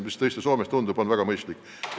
Soomes kavandatav lahendus tundub väga mõistlik olevat.